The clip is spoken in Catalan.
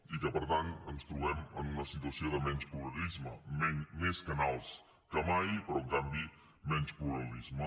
i que per tant ens trobem en una situació de menys pluralisme més canals que mai però en canvi menys pluralisme